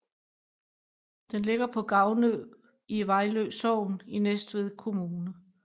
Den ligger på Gavnø i Vejlø Sogn i Næstved Kommune